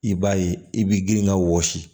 I b'a ye i b'i girin ka wɔsi